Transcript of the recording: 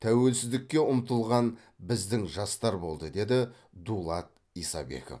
тәуелсіздікке ұмтылған біздің жастар болды деді дулат исабеков